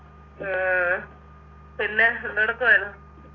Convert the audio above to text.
ഉം പിന്നെ എന്തെടുക്കുവായിരുന്നു